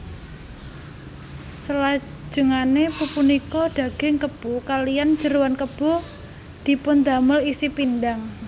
Selajengane pupunika daging kebo kaliyan jeroan kebo dipundamel isi pindhang